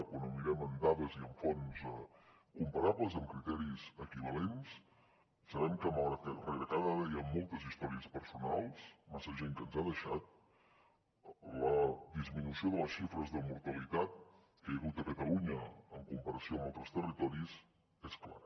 quan ho mirem en dades i amb fonts comparables amb criteris equivalents sabem que malgrat que rere cada dada hi ha moltes històries personals massa gent que ens ha deixat la disminució de les xifres de mortalitat que hi ha hagut a catalunya en comparació amb altres territoris és clara